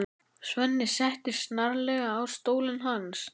Svenni settist snarlega í stólinn hans.